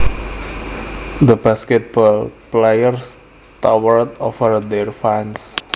The basketball players towered over their fans